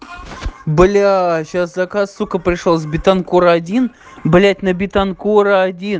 бля сейчас заказ сука пришёл бетанкура один блядь на бетанкура один